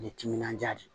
Ni timinan diya de ye